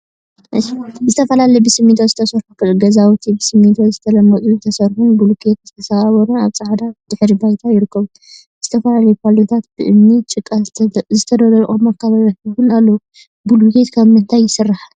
ዝተፈላለዩ ብስሚንቶ ዝተሰርሑ ገዛውቲን ብስሚንቶ ዝተለመፁን ዝተሰርሑን ቡሉኬታ ዝተሰባበሩን አብ ፃዕዳ ድሕረ ባይታ ይርከቡ፡፡ ዝተፈላለዩ ፓሎታትን ብእምኒን ጭቃን ዝተነደቁ መካበብያታት እውን አለው፡፡ ብሉኬት ካብ እንታይ ይስራሕ?